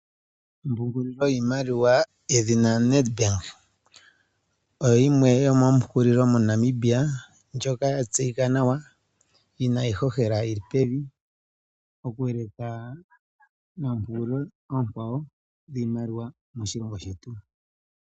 Ompungulilo yiimaliwa yedhina Nedbank oya tseyika nawa yina iihohela yili pevi nawa oku eleka noombanga oonkwawo.